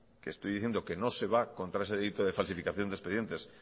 que estoy diciendo que no se va contra ese delito de falsificación de expedientes